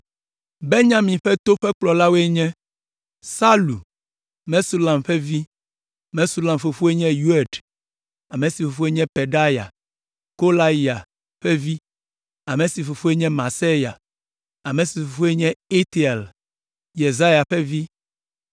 Benyamin ƒe to la ƒe kplɔlawoe nye: Salu, Mesulam ƒe vi. Mesulam fofoe nye Yoed, ame si fofoe nye Pedaya, Kolaya ƒe vi, ame si fofoe nye Maaseya, ame si fofoe nye Itiel, Yesaya ƒe vi.